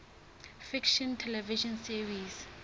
fiction television series